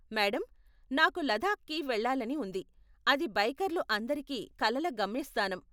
Madam, నాకు లదాఖ్కి వెళ్ళాలని ఉంది, అది బైకర్లు అందరికి కలల గమ్యస్థానం.